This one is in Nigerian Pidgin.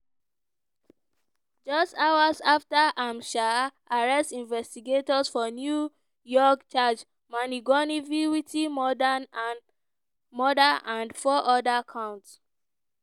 just hours afta im um arrest investigators for new york charge mangionewit murder and four oda counts.